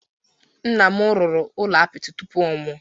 Nna nna m rụrụ ụlọ apịtị tụpụ ọ nwụọ